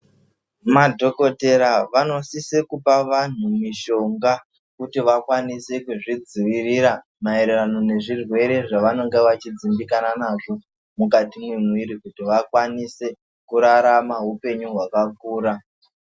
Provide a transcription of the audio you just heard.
Madhokodheya vanosisa kuona vantu mishonga kuti vakwanise kuzvidzivirira maererano nezvirwere zvavanenge vachidzivikanwa nazvo mukati memuviri kuti vakwanise kurarama hupenyu hwakakura.